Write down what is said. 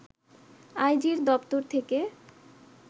আইজির দপ্তর থেকে